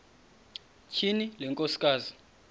tyhini le nkosikazi